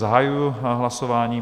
Zahajuji hlasování.